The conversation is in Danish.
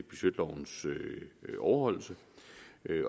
budgetlovens overholdelse